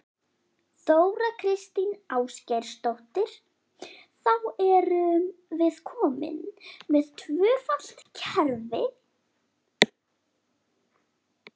Þóra Kristín Ásgeirsdóttir: Þá erum við komin með tvöfalt kerfi?